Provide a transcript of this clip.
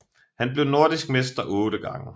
Han blev nordisk mester otte gange